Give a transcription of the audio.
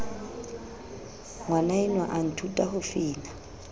ngwanaenwa a nthuta ho fina